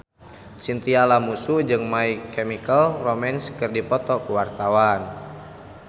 Chintya Lamusu jeung My Chemical Romance keur dipoto ku wartawan